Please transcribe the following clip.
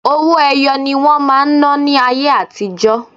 Owó ẹyọ ni wọ́n máa ń ná ní ayé àtijọ́.